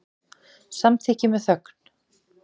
Samþykki með þögn.